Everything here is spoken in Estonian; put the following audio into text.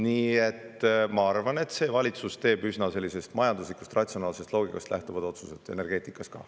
Nii et ma arvan, et see valitsus teeb majanduslikust ja ratsionaalsest loogikast lähtuvad otsused energeetikas.